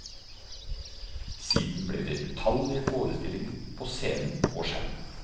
Siden ble det utallige forestillinger på scene og skjerm.